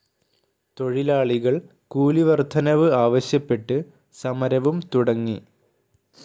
തൊഴിലാളികൾ കൂലി വർദ്ധനവ് ആവശ്യപ്പെട്ട് സമരവും തുടങ്ങി.